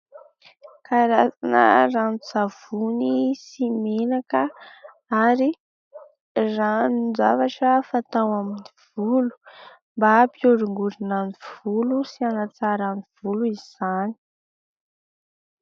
Karazana ranon-tsavony sy menaka ary ranon-javatra fatao amin'ny volo mba hampihorongorona ny volo sy hanatsarana ny volo izany.